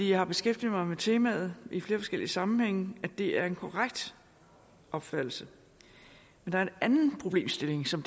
jeg har beskæftiget mig med temaet i flere forskellige sammenhænge og det er en korrekt opfattelse der er en anden problemstilling som